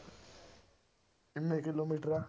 ਕਿੰਨੇ ਕਿੱਲੋਮੀਟਰ ਆ